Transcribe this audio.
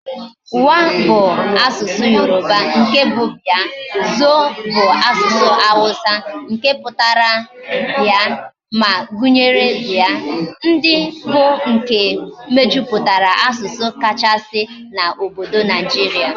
Wa bu asusu Yoruba, nke bu bia, Zo bu asusu Hausa putara bia, ma gunyere bia. ndi bu nke mejuputara asusu kachasi na obodo Nigeria